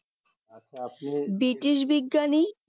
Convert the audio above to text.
British বিজ্ঞানী